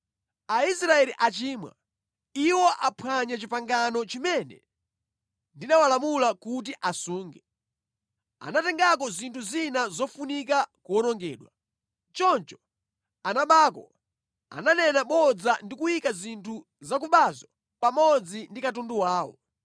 Aisraeli achimwa. Iwo aphwanya pangano limene ndinawalamula kuti asunge. Anatengako zinthu zina zofunika kuwonongedwa. Choncho anabako, ananena bodza ndi kuyika zinthu zakubazo pamodzi ndi katundu wawo.